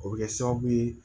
O bɛ kɛ sababu ye